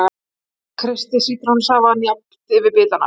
Kreistið sítrónusafann jafnt yfir bitana.